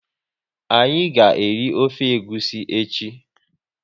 Anyị ga eri ofe egwusi echi